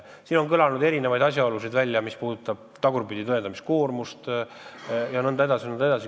Siin on kõlanud erinevaid ettepanekuid, näiteks on pakutud tagurpidi tõendamise koormust jm.